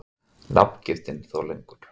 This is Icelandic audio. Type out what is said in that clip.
Nafngiftin þó lengur.